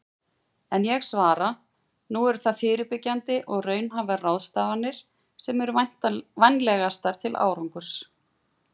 En ég svara: Nú eru það fyrirbyggjandi og raunhæfar ráðstafanir sem eru vænlegastar til árangurs.